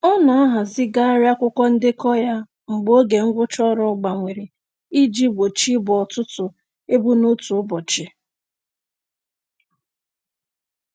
Ọ na-ahazigharị akwụkwọ ndekọ ya mgbe oge ngwụcha ọrụ gbanwere iji gbochi ịbo ọtụtụ ibu n'otu ụbọchị.